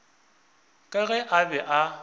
ka ge a be a